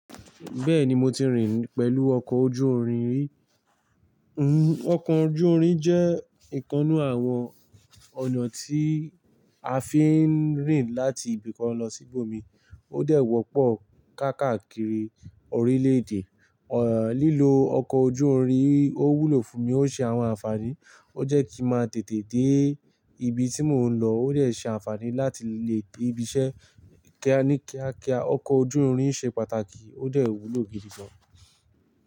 Bẹ́ẹ̀ni mo ti rìn pẹ̀lú ọkọ̀ ojú irin rí. Hmm, ọkọ̀ ojú irin jẹ́ ìkannu àwọn ọ̀nà tí a fi ń rìn láti ibìkan lọ sí ibòmíràn. Ó dẹ̀ wọ́pọ̀ káàkiri orílẹ̀-èdè. Ẹ̀, lílo ọkọ̀ ojú irin ò wúlò fún mi. Ó ṣe àwọn àǹfààní, ó jẹ́ kí ń máa tètè dé ibi tí mò ń lọ. Ó dẹ̀ ṣe àǹfààní láti lè dé ibi iṣẹ́ ní kíákíá. Ọkọ̀ ojú irin ṣe pàtàkì, ó dẹ̀ wúlò gidi gan.